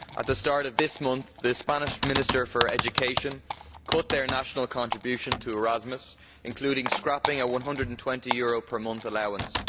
At the start of this month the Spanish Minister for Education cut their national contribution to Erasmus, including scrapping a EUR 120 per month allowance.